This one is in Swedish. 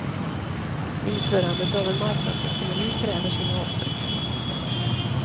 Införandet av en marknadsekonomi kräver sina offer.